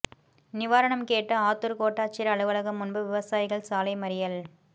நிவாரணம் கேட்டு ஆத்தூர் கோட்டாட்சியர் அலுவலகம் முன்பு விவசாயிகள் சாலை மறியல்